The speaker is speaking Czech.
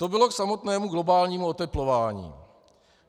To bylo k samotnému globálnímu oteplování.